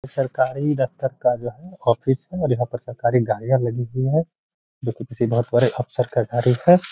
सरकारी दफ्तर का जो है ऑफिस है और यहां पर सरकारी गाड़ियां लगी हुई है। जो कि किसी बहुत बड़े अफसर का गाड़ी है।